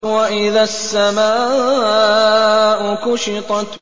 وَإِذَا السَّمَاءُ كُشِطَتْ